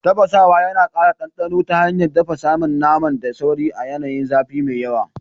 Tafasawa yana kara dandano ta hanyar dafa saman naman da sauri a yanayin zafi mai yawa.